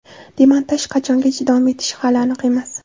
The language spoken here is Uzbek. Demontaj qachongacha davom etishi hali aniq emas.